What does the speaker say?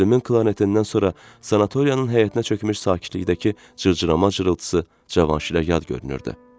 Müslümin klarnetindən sonra sanatoriyanın həyətinə çökmüş sakitlikdəki cırcırama cırıltısı Cavanşirə yad görünürdü.